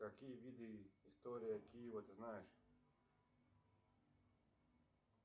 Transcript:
какие виды история киева ты знаешь